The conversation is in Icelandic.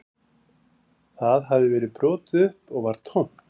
Það hafði verið brotið upp og var tómt